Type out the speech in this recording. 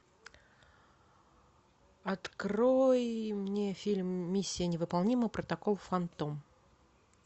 открой мне фильм миссия невыполнима протокол фантом